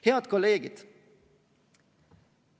Head kolleegid!